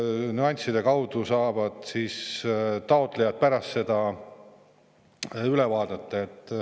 Nüansse saavad taotlejad veel üle vaadata.